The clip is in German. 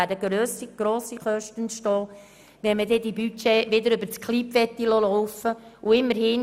es werden hohe Kosten entstehen, wenn man die Budgets wieder über die Software KLIBnet laufen lassen möchte.